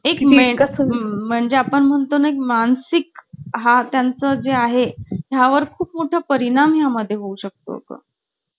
एक मेन म्हणजे आपण म्हणतो नाही मानसिक हा त्यांचा जे आहे त्यावर खूप मोठा परिणाम या मध्ये होऊ शकतो का